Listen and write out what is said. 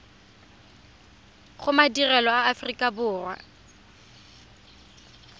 go madirelo a aforika borwa